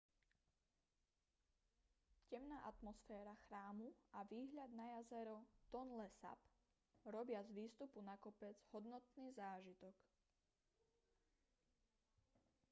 temná atmosféra chrámu a výhľad na jazero tonle sap robia z výstupu na kopec hodnotný zážitok